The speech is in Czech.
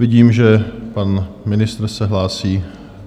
Vidím, že pan ministr se hlásí.